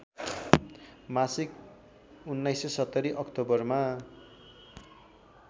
मासिक १९७० अक्टोबरमा